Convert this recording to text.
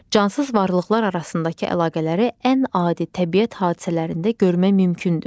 Cansız varlıqlar arasındakı əlaqələri ən adi təbiət hadisələrində görmək mümkündür.